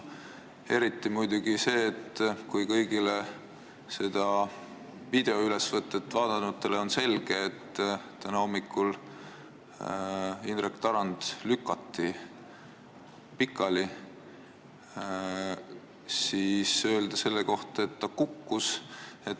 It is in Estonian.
Eriti muidugi see, et kui kõigile teistele seda videoülesvõtet vaadanutele oli selge, et täna hommikul Indrek Tarand lükati pikali, siis tema ütles selle kohta, et ta kukkus.